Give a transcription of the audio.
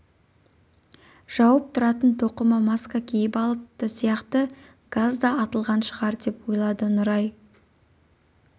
жауып тұратын тоқыма маска киіп алыпты сияқты газ да атылған шығар деп ойлады нұрай